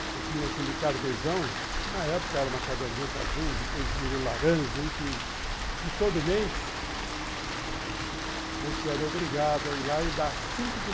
Você tinha aquele carnerzão, na época era uma caderneta azul, depois virou laranja, enfim, que todo mês você era obrigado a ir lá e dar cinco por